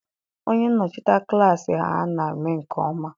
Onye nnọchite klassị ha ana eme nke ọma?